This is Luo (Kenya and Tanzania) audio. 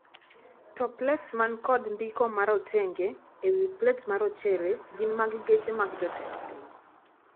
To plets man kod ndiko marotenge ewii plets marochere gin mag geche mag jotend piny.